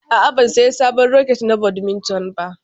A'a, ban sayi sabon raket na badminton ba.